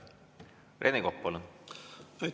Rene Kokk, palun!